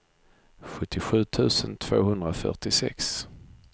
sjuttiosju tusen tvåhundrafyrtiosex